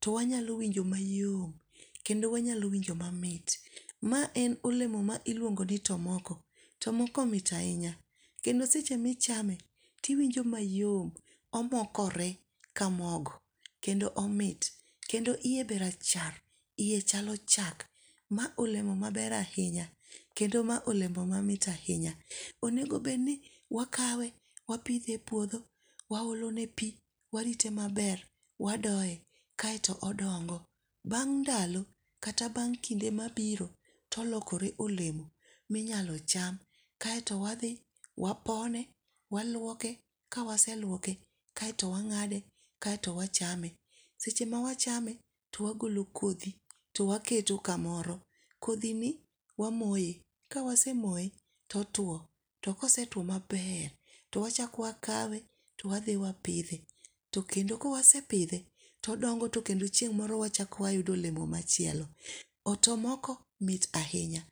to wanyalo winjo mayom kendo wanyalo winjo mamit , mae en olemo ma iluongo ni tomoko. tomoko mit ahinya kendo seche ma ichame tiwinjo mayom omokore ka mogo kendo omit, kendo hiye be rachar hiye chalo chak ma olemo maber ahinya kendo ma olemo mamit ahinya, onego bed ni wakawe kendo wapithe e puotho waolone pi warite maber wadoye kaeto odongo. Bang' ndalo kata bang' kinde mabiro to olokore olemo ma inyalo cham, kaeto wathi to wapone waluoke kawaseluoke kae to wang'ade kaeto wachame, seche ma wachame to wagolo kothi to waketo kamoro, kothini wamoye , ka wasemoye to otwo to kosetwo maber to wachak wakawe to wathi wapithe, to kendo ka wasepithe todongo to kendo chieng' moro wachak wayudo olemo machielo, tomoko mit ahinya